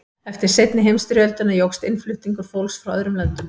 eftir seinni heimsstyrjöldina jókst innflutningur fólks frá öðrum löndum